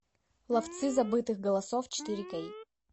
ловцы забытых голосов четыре кей